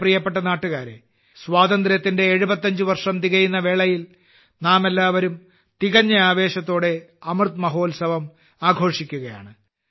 എന്റെ പ്രിയപ്പെട്ട നാട്ടുകാരേ സ്വാതന്ത്ര്യത്തിന്റെ 75 വർഷം തികയുന്ന വേളയിൽ നാമെല്ലാവരും തികഞ്ഞ ആവേശത്തോടെ അമൃത് മഹോത്സവം ആഘോഷിക്കുകയാണ്